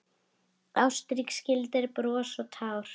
Ástrík skildir bros og tár.